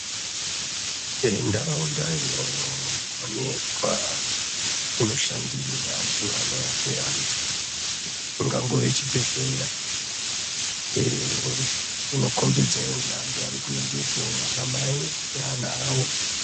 Ntaraunda inoonekwa ,inoshandire antu ano rape antu ingangove chibhedhlera inokombidza ngeandu ari kuendepo ana mai ngevana vavo